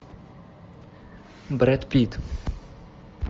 брэд питт